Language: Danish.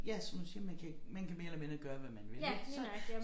Ja som du siger man kan man kan mere eller mindre gøre hvad man vil ik så